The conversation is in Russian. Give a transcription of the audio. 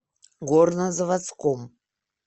горнозаводском